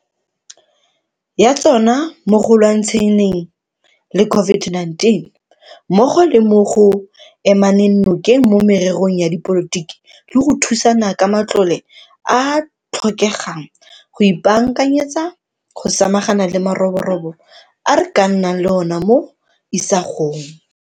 Ya tsona mo go lwantsha neng le COVID-19 mmogo le mo go emaneng nokeng mo mererong ya dipolotiki le go thusana ka matlole a a tlhokegang go ipaakanyetsa go samagana le maroborobo a re ka nnang le ona mo isagong.